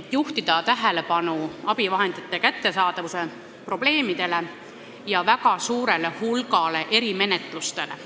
et juhtida tähelepanu abivahendite kättesaadavuse probleemidele ja väga suurele hulgale erimenetlustele.